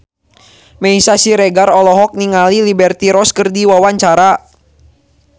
Meisya Siregar olohok ningali Liberty Ross keur diwawancara